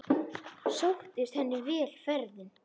Sóttist henni vel ferðin.